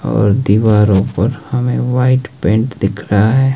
और दीवारों पर हमें वाइट पेंट दिख रहा है।